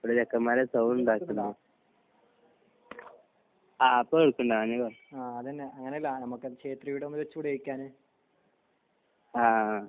ഇവിടെ ചെക്കന്മാർ സൗണ്ട് ഉണ്ടാക്കുന്നുണ്ട്. ആഹ് ഇപ്പൊ കുഴപ്പല്ല. അങ്ങനെ പറേയ് ആഹ് ആഹ്